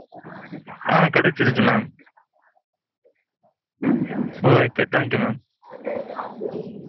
ஆ ஆ கெடச்சுருக்கு mam. okay thank you mam